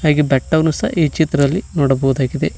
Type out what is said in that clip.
ಹಾಗೆ ಬೆಟ್ಟವನ್ನು ಸಹ ಈ ಚಿತ್ರಲ್ಲಿ ನೋಡಬಹುದಾಗಿದೆ.